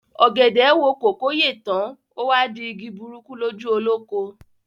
Ọ̀gẹ̀dẹ̀ wo kòkó yè tán, o wá di igi burúkú lójú olóko.